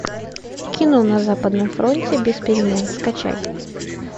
кино на западном фронте без перемен скачай